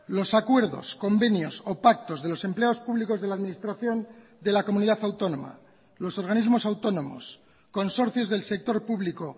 los acuerdos convenios o pactos de los empleados públicos de la administración de la comunidad autónoma los organismos autónomos consorcios del sector público